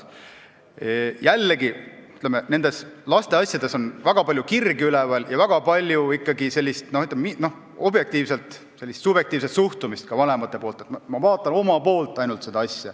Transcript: Jällegi, lapsi puudutavates asjades on palju kirgi üleval ja objektiivselt on seal väga palju ikkagi ka vanemate subjektiivset suhtumist, et vaadatakse asju ainult enda poolt.